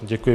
Děkuji.